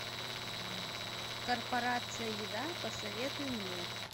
корпорация еда посоветуй мне